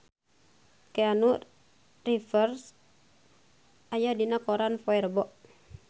Keanu Reeves aya dina koran poe Rebo